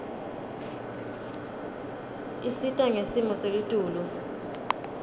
isita ngesimo selitulu